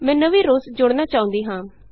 ਮੈਂ ਨਵੀਂ ਰੋਅਜ਼ ਜੋੜਨਾ ਚਾਹੁੰਦੀ ਹਾਂ